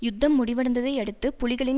யுத்தம் முடிவடைந்ததை அடுத்து புலிகளின்